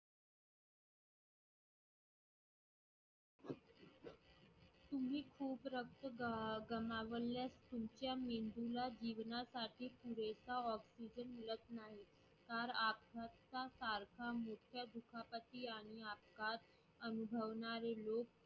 तुम्ही खूप रक्त ग गमावलास तुमच्या मेंदूला जीवनासाठी पुरेसा oxygen मिळत नाही